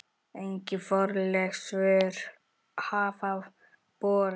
Engin formleg svör hafa borist.